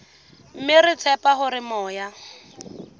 mme re tshepa hore moya